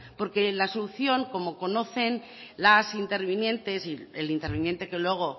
porque en la asunción como conocen las intervinientes y el interviniente que luego